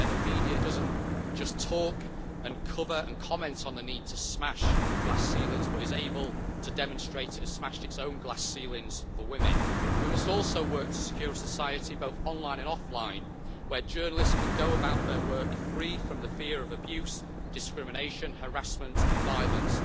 So, where the media doesn't just talk and cover and comment on the need to smash glass ceilings, but is able to demonstrate it has smashed its own glass ceilings for women. We must also work to secure a society both online and offline where journalists can go about their work free from the fear of abuse, discrimination, harassment and violence.